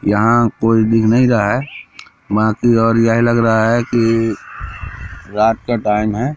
यहां कोई दिख नहीं रहा है यह लग रहा है कि रात का टाइम है।